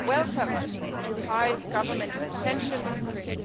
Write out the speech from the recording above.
It welcomed the Thai Government's intention